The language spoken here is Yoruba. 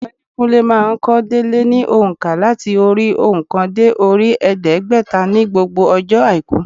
Ọ̀gbẹ́ni Kúnlé má a n kó délé ní ònkà láti orí óòkan dé orí èédégbèta ní gbogbo ọjọ́ àìkú